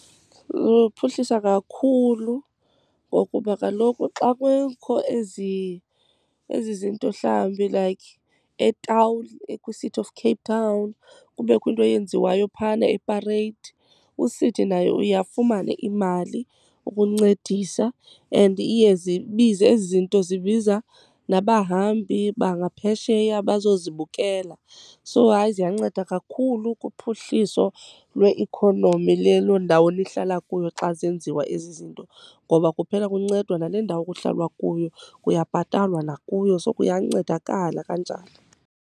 Luphuhlisa kakhulu. Ngokuba kaloku xa kukho ezi zinto, mhlawumbi like etawuni kwiCity of Cape Town, kubekho into eyenziwayo phana eParade, uCity naye uye afumane imali ukuncedisa and iye zibize ezi zinto, zibiza nabahambi bangaphesheya bazozibukela. So hayi, ziyanceda kakhulu kuphuhliso lweikhonomi lelo ndawo nihlala kuyo xa zenziwa ezi zinto. Ngoba kuphela kuncedwa nale ndawo kuhlalwa kuyo, kuyabhatalwa nakuyo. So kuyancedakala kanjalo.